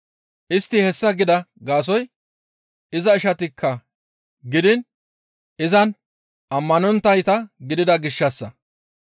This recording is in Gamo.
Istti hessa gida gaasoykka iza ishatakka gidiin izan ammanonttayta gidida gishshassa.